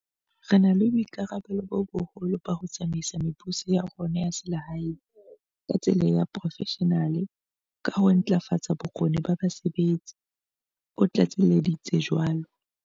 "Re na le boikarabello bo boholo ba ho tsamaisa mebuso ya rona ya selehae ka tsela ya seporofeshenale ka ho ntlafatsa bokgoni ba basebetsi," o tlatselleditse jwalo.